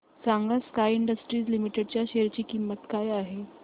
सांगा Sky Industries Limited च्या share ची किंमत काय आहे